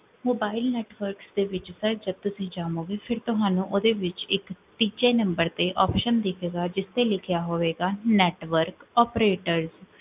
mobile network ਦੇ ਵਿੱਚ, ਜਦੋਂ ਤੁਸੀਂ ਜਾਵੋਂਗੇ ਫੇਰ ਤੁਹਾਨੂੰ, ਓਦੇ ਵਿੱਚ, ਇਕ, ਤੀਜੇ ਨਮ੍ਬਰ ਤੇ more option ਦਿਖੇਗਾ, ਜਿਥੇ ਲਿਖਿਆ ਹੋਵੇਗਾ, network operator